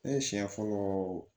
Ne siɲɛ fɔlɔ